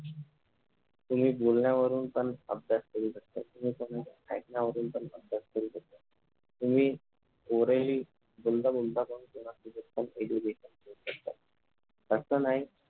तुम्ही बोलण्यावरून पण अभ्यास करू शकता तुम्ही ऐकण्यावरून पण अभ्यास करू शकता तुम्ही orally बोलता बोलता पण थोडासा EDUCATION घेऊ शकता